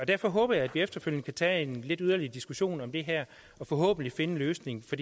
derfor håber jeg at vi efterfølgende kan tage en yderligere diskussion om det her og forhåbentlig finde en løsning for